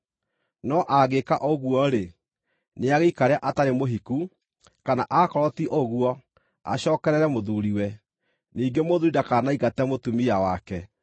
No aangĩka ũguo-rĩ, nĩagĩikare atarĩ mũhiku, kana akorwo ti ũguo, acookerere mũthuuriwe. Ningĩ mũthuuri ndakanaingate mũtumia wake.